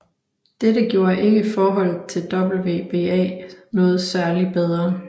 Dette gjorde ikke forholdet til WBA noget særligt bedre